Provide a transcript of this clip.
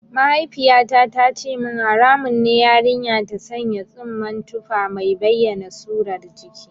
Mahaifiyata ta ce min haramun ne yarinya ta sanya tsumman tufa mai bayyana surar jiki.